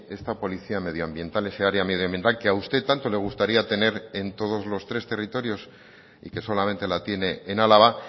esta policía medioambiental ese área medioambiental que a usted tanto le gustaría tener en todos los tres territorios y que solamente la tiene en álava